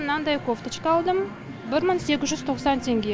мынандай кофточка алдым бір мың сегіз жүз тоқсан теңге